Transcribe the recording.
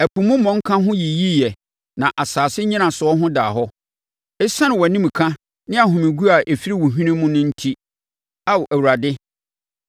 Ɛpo mu mmɔnka ho yiyiiɛ na asase nnyinasoɔ ho daa hɔ, ɛsiane wʼanimka ne ahomeguo a ɛfiri wo hwene mu no enti, Ao Awurade.